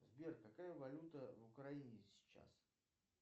сбер какая валюта в украине сейчас